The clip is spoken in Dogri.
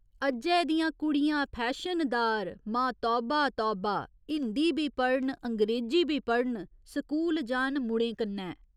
अज्जै दियां कुड़ियां फैशनदार, मां तौबा तौबा हिंदी बी पढ़न, अंग्रेजी बी पढ़न, स्कूल जान मुड़ें कन्नै।